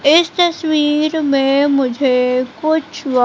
इस तस्वीर में मुझे कुछ--